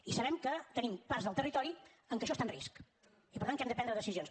i sabem que tenim parts del territori en què això està en risc i per tant que hem de prendre decisions